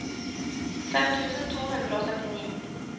fem tusen to hundre og syttini